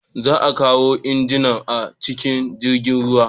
Za a kawo injinan a cikin jirgin ruwa.